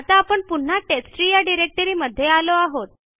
आता आपण पुन्हा टेस्टट्री या डिरेक्टरी मध्ये आलो आहोत